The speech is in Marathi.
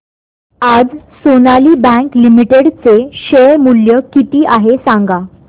आज सोनाली बँक लिमिटेड चे शेअर मूल्य किती आहे सांगा